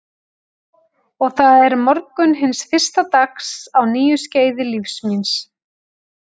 Og það er morgunn hins fyrsta dags á nýju skeiði lífs míns.